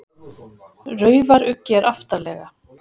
Raufaruggi er aftarlega.